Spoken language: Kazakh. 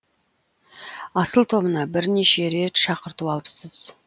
асыл тобына бірнеше рет шақырту алыпсыз